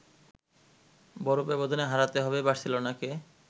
বড় ব্যবধানে হারাতে হবে বার্সেলোনাকে